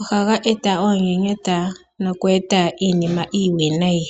ohaga eta oonyenyeta nokuga eta iinima iiwinayi.